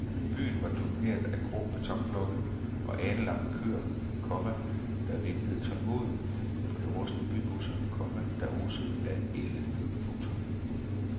Byen var domineret af grå betonblokke og alenlange køer, komma der ventede tålmodigt på de rustne bybusser, komma der osede af ælde. punktum